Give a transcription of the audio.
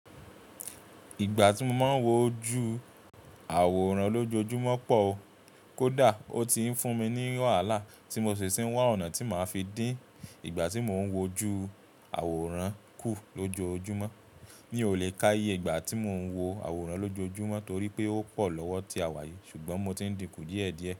Ìgbà tí mo máa ń wo ojú àwòrán lójoojúmọ́ pọ̀ o. Kódà ó ti ń fún mi ní wàhálà tí mo ṣèṣì ń wá ọ̀nà tí màá fi dín ìgbà tí mò ń wo ojú àwòrán kù lójoojúmọ́. Ní ò lè ká iye ìgbà tí mò ń wo àwòrán lójoojúmọ́ torí pé ó pọ̀ lọ́wọ́ ti a wàyi, ṣùgbọ́n mo ti ń dinku díẹ̀díẹ̀.